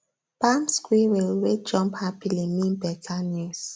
palm squirrel wey jump happily mean better news